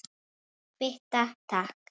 Kvitta, takk!